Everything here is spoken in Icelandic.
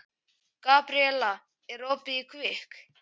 Gabríella, er opið í Kvikk?